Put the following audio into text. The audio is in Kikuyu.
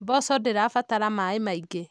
Mboco ndĩra batara maaĩ maingĩ.